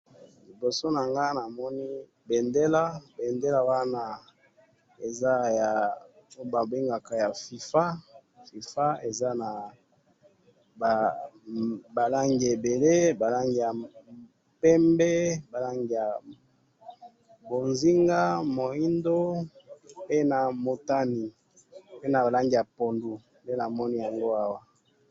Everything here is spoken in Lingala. liboso nangai awa namoni bendela, bendela wana eza awa babengaka FIFA, FIFA eza naba rangi ebele, ba rangi ya pembe, ba rangi ya mbozinga, muindo, pe na motane, pe na rangi ya pondu, nde namoni yango awa